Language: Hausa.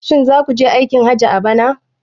Shin za ku je aikin hajji a bana?